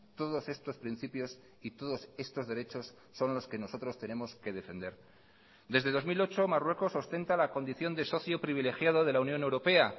todos estos principios y todos estos derechos son los que nosotros tenemos que defender desde dos mil ocho marruecos ostenta la condición de socio privilegiado de la unión europea